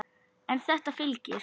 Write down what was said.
En þetta fylgir.